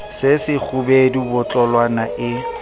se se kgubedu botlolwana e